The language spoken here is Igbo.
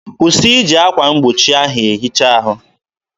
kwụsị iji akwa mgbochi ahụ ehicha ahụ!